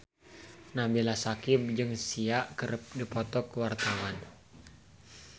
Nabila Syakieb jeung Sia keur dipoto ku wartawan